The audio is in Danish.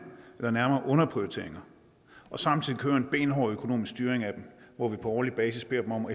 eller nærmere underprioriteringer og samtidig køre en benhård økonomisk styring af dem hvor vi på årlig basis beder dem om